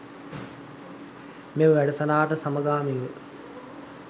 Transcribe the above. මෙම වැඩසටහනට සමගාමීව